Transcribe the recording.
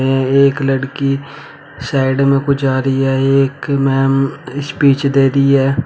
यह एक लड़की साइड में कुछ जा रही है एक मैम स्पीच दे रही है।